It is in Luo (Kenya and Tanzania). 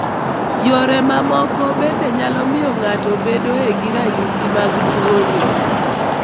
Yore mamoko bende nyalo miyo ng'ato bedeo gi ranyisi mag tuo ni.